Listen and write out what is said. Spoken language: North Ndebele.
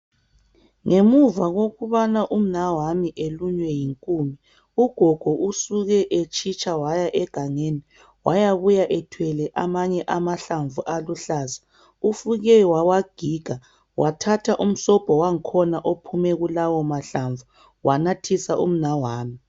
Ngemuva kokubana umnawami elunywe yinkume, ugogo usuke etshitsha waya egangeni wayabuya ethwele amanye amahlamvu aluhlaza. Ufike wawagiga wathatha umsobho wangkhona ophume kulawo mahlamvu wanathisa umnawami.